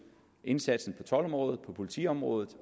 indsatsen på toldområdet politiområdet